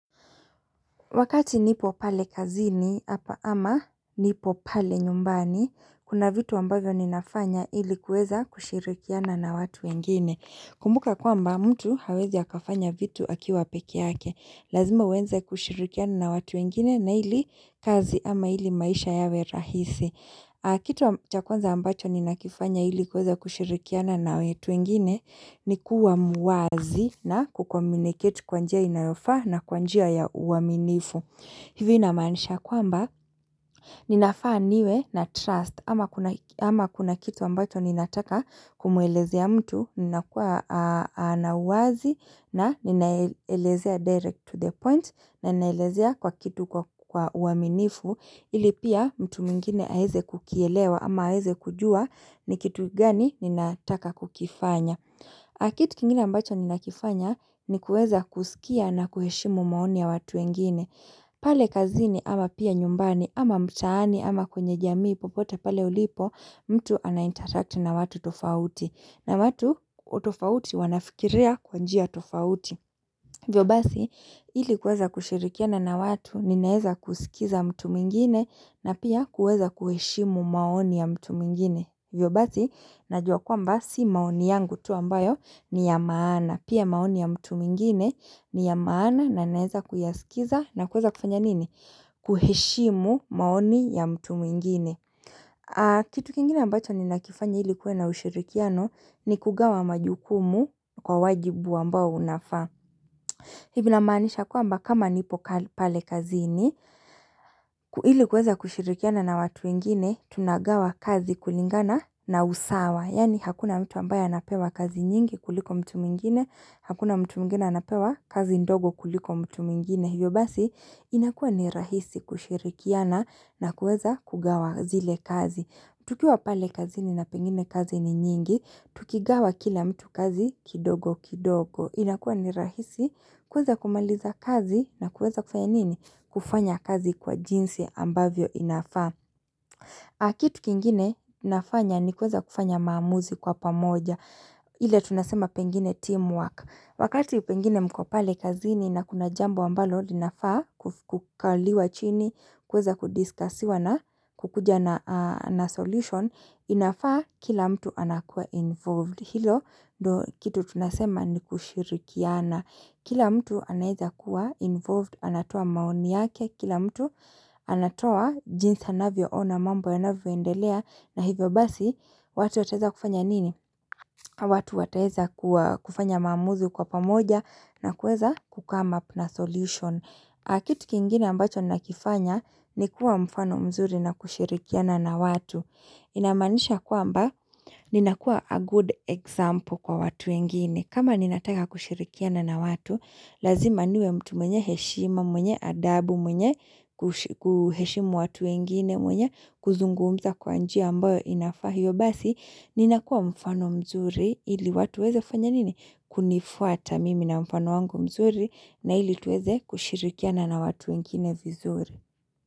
Wakati nipo pale kazini, hapa ama nipo pale nyumbani, kuna vitu ambavyo ninafanya ilikuweza kushirikiana na watu wengine. Kumbuka kwa mba mtu hawezi akafanya vitu akiwa peke yake, lazima uweze kushirikiana na watu wengine na ili kazi ama ili maisha yawe rahisi. Kitu chakwanza ambacho ni nakifanya ilikuweza kushirikiana na watu wengine ni kuwa muwazi na kucommunicate kwa njia inayofaa na kwa njia ya uaminifu. Hivyo namaanisha kwamba ninafaa niwe na trust ama kuna kitu ambacho ninataka kumuelezea mtu nina kuwa ana uwazi na ninaeleze a direct to the point na ninaelezea kwa kitu kwa uaminifu ilipia mtu mwingine aeze kukielewa ama haeze kujua ni kitu gani ninataka kukifanya. Kitu kingine ambacho ni nakifanya ni kueza kusikia na kuheshimu maoni ya watu wengine pale kazini ama pia nyumbani ama mtaani ama kwenye jamii popote pale ulipo mtu anainterakti na watu tofauti na watu tofauti wanafikiria kwa njia tofauti hiVyo basi ili kueza kushirikia na na watu ninaeza kusikiza mtu mwingine na pia kueza kuheshimu maoni ya mtu mwingine hiVyo bazi, najua kwamba si maoni yangu tu ambayo ni ya maana. Pia maoni ya mtu mwingine ni ya maana na naeza kuyaskiza na kueza kufanya nini? Kuheshimu maoni ya mtu mwingine. Kitu kingine ambacho ni nakifanya ilikuwe na ushirikiano ni kugawa majukumu kwa wajibu ambao unafaa. Hivi namaanisha kwamba kama nipo pale kazini, ili kuweza kushirikiana na watu wengine, tunagawa kazi kulingana na usawa. Yani hakuna mtu ambaye anapewa kazi nyingi kuliko mtu mwingine, hakuna mtu mwingine anapewa kazi ndogo kuliko mtu mwingine. Hivyo basi, inakuwa ni rahisi kushirikiana na kuweza kugawa zile kazi. Tukiwa pale kazini na pengine kazi ni nyingi, tukigawa kila mtu kazi kidogo kidogo. Inakuwa ni rahisi kuweza kumaliza kazi na kuweza kufanya nini? Kufanya kazi kwa jinsi ambavyo inafaa. Kitu kingine nafanya ni kuweza kufanya maamuzi kwa pamoja. Ile tunasema pengine teamwork. Wakati pengine mkopale kazini na kuna jambo ambalo linafaa kukaliwa chini, kuweza kudiscussiwa na kukuja na solution. Inafaa kila mtu anakuwa involved Hilo kitu tunasema ni kushirikiana Kila mtu anaeza kuwa involved anatoa maoni yake Kila mtu anatoa jinsi anavyoona mambo yanavyo endelea na hivyo basi watu wataeza kufanya nini watu wataeza kufanya maamuzi kwa pamoja na kueza kucome up na solution Kitu kingine ambacho nakifanya Nikuwa mfano mzuri na kushirikiana na watu Inamanisha kwamba, ninakuwa a good example kwa watu wengine kama ninataka kushirikiana na watu, lazima niwe mtu mwenye heshima mwenye adabu mwenye kuheshimu watu wengine mwenye, kuzungumza kwa njia ambayo inafaa hivyo Basi, ninakuwa mfano mzuri, hili watu waeze fanya nini? Kunifuata mimi na mfano wangu mzuri, na hili tuweze kushirikiana na watu wengine vizuri.